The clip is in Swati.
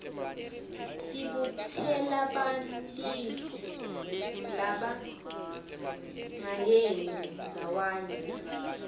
tibutselabantifu labarayenti ndzawanye